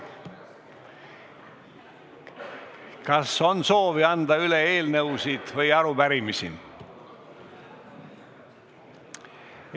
Kas on soovi anda üle eelnõusid või arupärimisi?